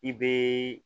I bɛ